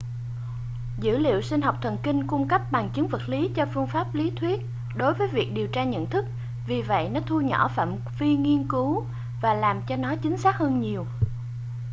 dữ liệu sinh học thần kinh cung cấp bằng chứng vật lý cho phương pháp lý thuyết đối với việc điều tra nhận thức vì vậy nó thu nhỏ phạm vi nghiên cứu và làm cho nó chính xác hơn nhiều